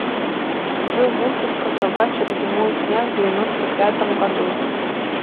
джой мультик про собачек зимой снят в девяносто пятом году